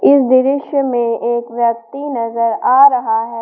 इस दृश्य में एक व्यक्ति नजर आ रहा है।